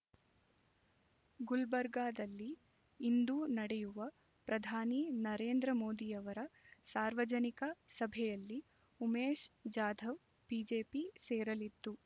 ಗುಲ್ಬರ್ಗಾದಲ್ಲಿ ಇಂದು ನಡೆಯುವ ಪ್ರಧಾನಿ ನರೇಂದ್ರಮೋದಿಯವರ ಸಾರ್ವಜನಿಕ ಸಭೆಯಲ್ಲಿ ಉಮೇಶ್ ಜಾಧವ್ ಬಿಜೆಪಿ ಸೇರಲಿದ್ದು